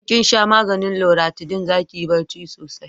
in kin sha maganin luratidin za kiyi barci sosai